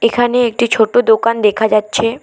এখানে একটি ছোটো দোকান দেখা যাচ্ছে।